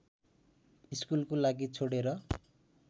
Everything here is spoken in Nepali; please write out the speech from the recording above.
स्कुलको लागि छोडेर